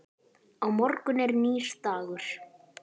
Á morgun er nýr dagur.